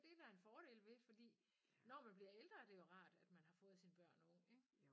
Det der en fordel ved fordi når man bliver ældre er det jo rart at man har fået sine børn ung ik